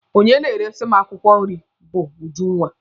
Onye na-eresi m akwụkwọ nri bụ Ujunwa.